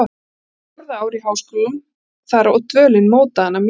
Hún var á fjórða ár í háskólum þar og dvölin mótaði hana mjög.